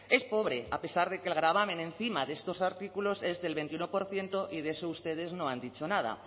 es pobre a pesar de que el gravamen encima de estos artículos es del veintiuno por ciento y de eso ustedes no han dicho nada